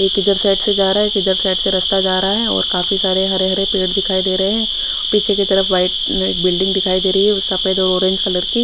एक इधर साइड से जरा है एक इधर साइड से रास्ता जारा है और काफी सारे हरे हरे पेड़ दिखाई देरे है पीछे की तरफ वाइट में एक बिल्डिंग दिखाई देरी है सफेद और ऑरेंज कलर की--